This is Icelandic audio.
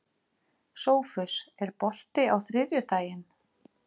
Sófus, er bolti á þriðjudaginn?